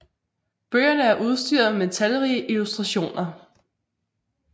Bøgerne er udstyret med talrige illustrationer